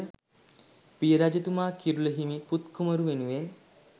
පිය රජතුමා කිරුළ හිමි පුත් කුමරු වෙනුවෙන්